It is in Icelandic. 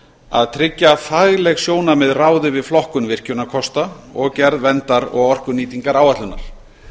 að tryggja að fagleg sjónarmið ráði við flokkun virkjunarkosta og gerð verndar og orkunýtingaráætlunar